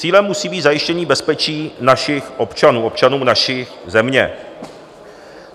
Cílem musí být zajištění bezpečí našich občanů, občanů naší země.